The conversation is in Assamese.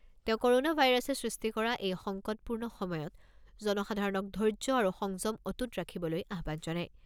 তেওঁ কৰ'না ভাইৰাছে সৃষ্টি কৰা এই সংকটপূৰ্ণ সময়ত জনসাধাৰণক ধৈৰ্য আৰু সংযম অটুট ৰাখিবলৈ আহ্বান জনায়।